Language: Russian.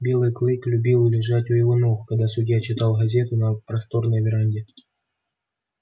белый клык любил лежать у его ног когда судья читал газету на просторной веранде